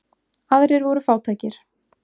Aðrir voru fátækir.